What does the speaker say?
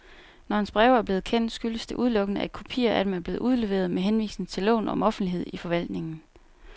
Når hans breve er blevet kendt, skyldes det udelukkende, at kopier af dem er blevet udleveret med henvisning til loven om offentlighed i forvaltningen.